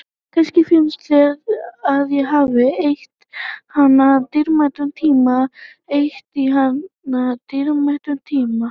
Kannski finnst þér að ég hafi eytt í hana dýrmætum tíma.